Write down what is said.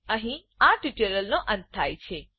અહી આ ટ્યુટોરીયલનો અંત થાય છે